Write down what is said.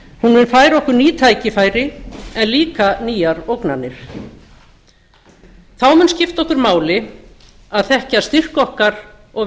mun færa okkur ný tækifæri en líka nýjar ógnanir þá mun skipta okkur máli að þekkja styrk okkar og